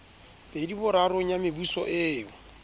pedi borarong ya mebuso eo